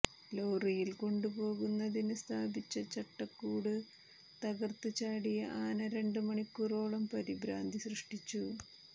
ലോറിയിൽ കൊണ്ടുപോകുന്നതിന് സ്ഥാപിച്ച ചടക്കൂട് തകർത്ത് ചാടിയ ആന രണ്ട് മണിക്കൂറോളം പരിഭ്രാന്തി സൃഷ്ടിച്ചു